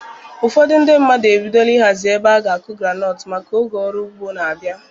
Ụfọdụ ndị mmadụ ebidola ihazi ebe ha ga-akụ Granot maka oge ọrụ ugbo na-abịa